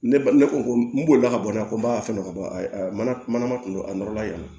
Ne ba ne ko ko n bolila ka bɔ n na ko n b'a fɛn dɔ ka bɔ a mana manama kun don a nɔrɔla yen nɔ